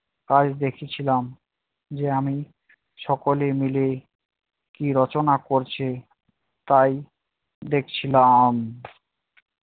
কাল দেখেছিলাম যে আমি সকলে মিলে কী রচনা করছে তাই দেখছিলাম।